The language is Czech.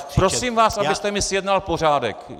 Tak prosím vás, abyste mi zjednal pořádek!